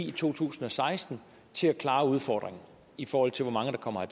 i to tusind og seksten til at klare udfordringen i forhold til hvor mange der kommer